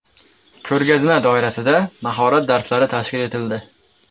Ko‘rgazma doirasida mahorat darslari tashkil etildi.